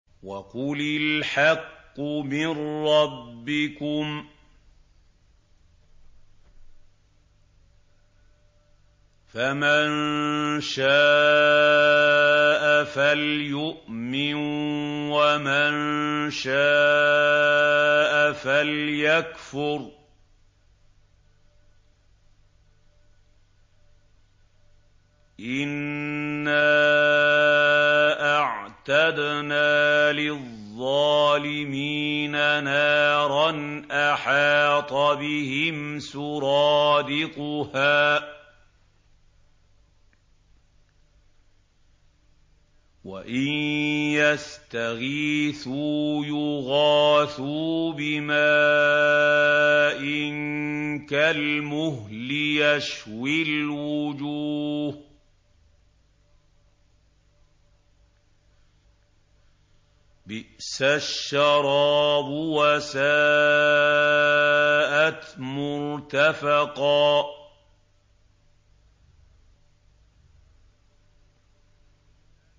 وَقُلِ الْحَقُّ مِن رَّبِّكُمْ ۖ فَمَن شَاءَ فَلْيُؤْمِن وَمَن شَاءَ فَلْيَكْفُرْ ۚ إِنَّا أَعْتَدْنَا لِلظَّالِمِينَ نَارًا أَحَاطَ بِهِمْ سُرَادِقُهَا ۚ وَإِن يَسْتَغِيثُوا يُغَاثُوا بِمَاءٍ كَالْمُهْلِ يَشْوِي الْوُجُوهَ ۚ بِئْسَ الشَّرَابُ وَسَاءَتْ مُرْتَفَقًا